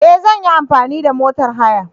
E! Zan yi amfani da motor haya.